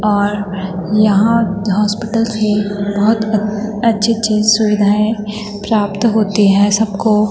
और यहाँ हॉस्पिटल के बहोत अछ-अच्छी अच्छी सुविधाएं प्राप्त होती है सबको।